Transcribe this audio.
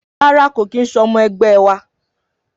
Rárá kò kín se ọmọ ẹgbẹ wa.